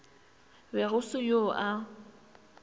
be go se yo a